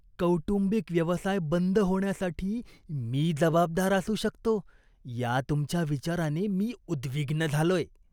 कौटुंबिक व्यवसाय बंद होण्यासाठी मी जबाबदार असू शकतो या तुमच्या विचाराने मी उद्विग्न झालोय.